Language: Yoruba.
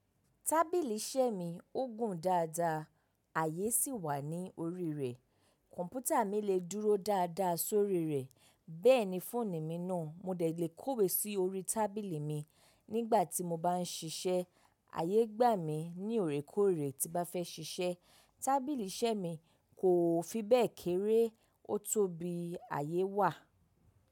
Tábìlì iṣẹ́ mi ó gùn dáadáa, àyè sì wà ní orí rẹ̀. Kọ̀m̀pútà mi lè dúró dáadáa sórí rẹ̀, bẹ́ẹ̀ ni fóònù mi náà. Mo lè kówe sí orí tábìlì mi nígbà tí mo bá ń ṣiṣẹ́. Àyé gbà mí ní òrékọ́ọ̀rẹ́ tí bá fẹ́ ṣiṣẹ́. Tábìlì iṣẹ́ mi kò fi bẹ́ẹ̀ kéré, ó tó bí àyè wà.